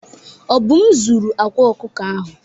Obum zuru akwa ọkụkọ ahụ.